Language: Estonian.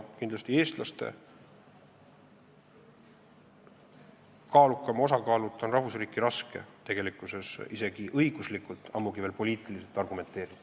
Kindlasti on eestlaste kaaluka osakaaluta rahvusriiki raske tegelikkuses isegi õiguslikult, ammugi veel poliitiliselt argumenteerida.